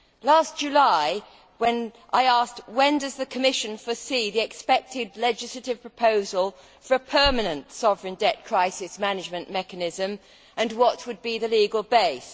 Last July I asked when the Commission foresaw the expected legislative proposal for a permanent sovereign debt crisis management mechanism and what would be the legal base.